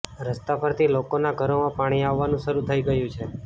રસ્તા પરથી લોકોના ઘરોમાં પાણી આવવાનું શરૂ થઈ ગયું છે